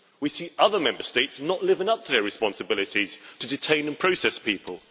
We see other Member States not living up to their responsibilities to detain and process people.